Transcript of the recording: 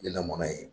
Lelamunna in